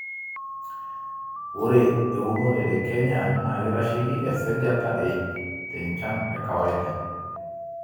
ore eunore te kenya naa keitasheiki esajata e iip te nchan e kawaida